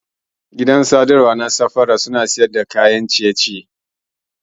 Gidan gahawa na safara suna siyar da kayan ciye ciye masu dadi.